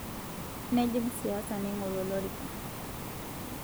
Nejing' siasa neing'oru olorika